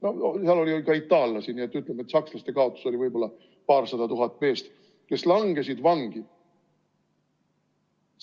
No seal oli ka itaallasi, nii et ütleme, et sakslaste kaotus oli võib-olla paarsada tuhat meest, kes langesid vangi.